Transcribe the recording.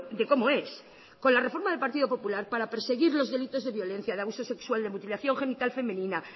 de cómo es con la reforma del partido popular para perseguir los delitos de violencia de abuso sexual de mutilación genital femenina